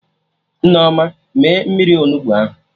Nneoma mee mmiri Onugbu ahụ